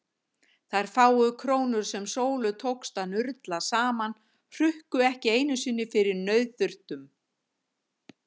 Þær fáu krónur sem Sólu tókst að nurla saman hrukku ekki einu sinni fyrir nauðþurftum.